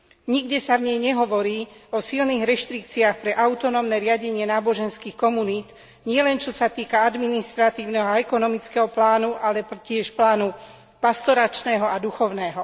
Nikde sa v nej nehovorí o silných reštrikciách pre autonómne riadenie náboženských komunít, nielen čo sa týka administratívneho a ekonomického plánu, ale tiež plánu pastoračného a duchovného.